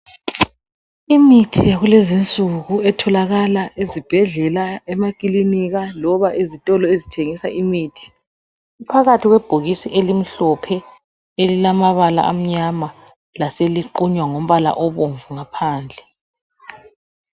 Imithi yakulezi insuku etholakala ezibhedlela, emakilinika loba ezitolo ezithengisa imithi iphakathi kwebhokisi elimhlophe elilamabala amnyama laseliqunywa ngombala obomvu ngaphandle.